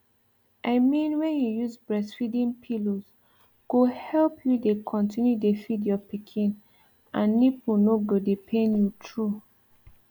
i mean when you use breastfeeding pillows go help you dey continue dey feed your pikin and nipple no go dey pain you true